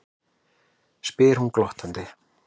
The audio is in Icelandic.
spyr hún glottandi.